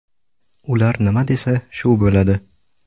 Ular nima desa, shu bo‘ladi.